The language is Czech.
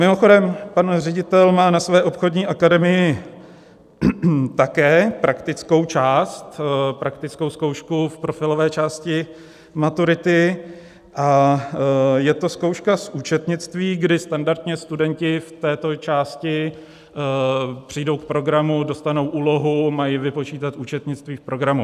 Mimochodem, pan ředitel má na své obchodní akademii také praktickou část, praktickou zkoušku v profilové části maturity, a je to zkouška z účetnictví, kdy standardně studenti v této části přijdou k programu, dostanou úlohu, mají vypočítat účetnictví v programu.